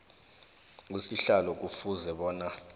usihlalo kufuze bona